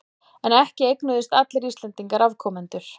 En ekki eignuðust allir Íslendingar afkomendur.